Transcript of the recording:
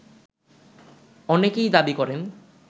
অনেকেই দাবি করেন